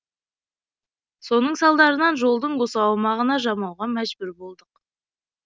соның салдарынан жолдың осы аумағына жамауға мәжбүр болдық